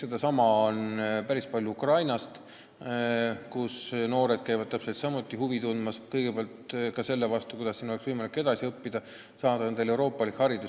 Seda huvi on päris palju Ukrainas, kust noored tulevad Eestisse, tundes huvi kõigepealt selle vastu, kuidas siin oleks võimalik edasi õppida, saada endale euroopalik haridus.